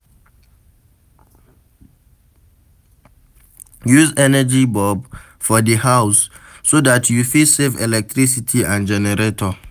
Use energy bulb for di house so dat you fit save electricity and generator